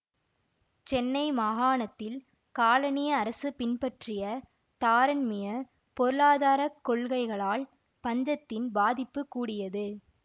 சென்னை மாகாணத்தில் காலனிய அரசு பின்பற்றிய தாராண்மியப் பொருளாதார கொள்கைகளால் பஞ்சத்தின் பாதிப்புக் கூடியது